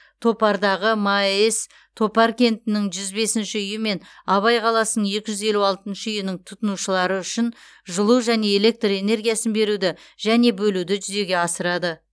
топардағы маэс топар кентінің жүз бесінші үйі мен абай қаласының екі жүз елу алтыншы үйінің тұтынушылары үшін жылу және электр энергиясын беруді және бөлуді жүзеге асырады